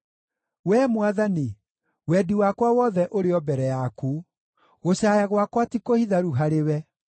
Wee Mwathani, wendi wakwa wothe ũrĩ o mbere yaku; gũcaaya gwakwa ti kũhitharu harĩwe.